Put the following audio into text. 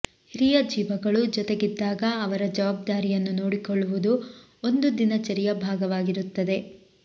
ಹಿರಿಯ ಜೀವಗಳು ಜೊತೆಗಿದ್ದಾಗ ಅವರ ಜವಾಬ್ದಾರಿಯನ್ನೂ ನೋಡಿಕೊಳ್ಳುವುದು ಒಂದು ದಿನಚರಿಯ ಭಾಗವಾಗಿರುತ್ತದೆ